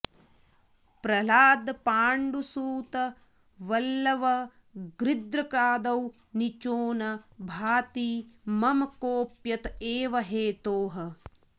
प्रह्लादपाण्डुसुतबल्लव गृघ्रकादौ नीचोन भाति मम कोऽप्यत एव हेतोः